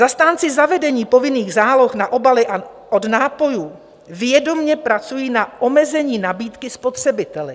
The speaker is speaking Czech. Zastánci zavedení povinných záloh na obaly od nápojů vědomě pracují na omezení nabídky spotřebiteli.